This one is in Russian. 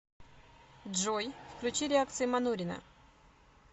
джой включи реакции манурина